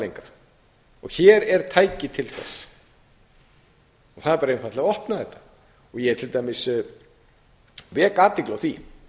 lengra og hér er tæki til þess það er bara einfaldlega að opna þetta ég til dæmis vek athygli á því